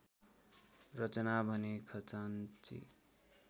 रचना भने खजान्ची